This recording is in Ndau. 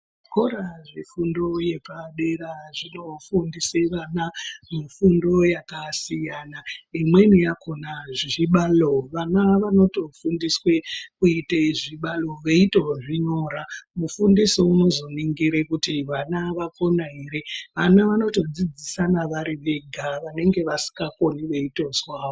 Zvikora zvefundo yepadera zvinofundise vana mifundo yakasiyana. Imweni yakona zvibalo vana vanotofundiswe kuite zvibalo veitozvinyora. Mufundisi unozoningira kuti vanavakona ere vana vanotodzidzisana varivega vanenge vasikakoni veitozwavo.